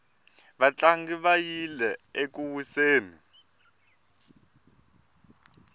vatlangi va yile eku wiseni